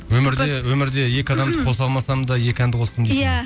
өмірде екі адамды қоса алмасам да екі әнді қостым дейсің иә